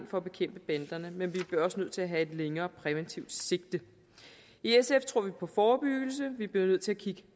for at bekæmpe banderne men vi bliver også nødt til at have et længere præventivt sigte i sf tror vi på forebyggelse vi bliver nødt til at kigge